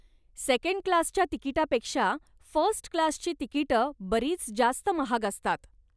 सेकंडक्लासच्या तिकीटापेक्षा फर्स्टक्लासची तिकीटं बरीच जास्त महाग असतात.